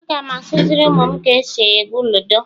Aga m akuziri umum ka esi egwu ludo